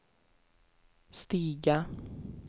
stiga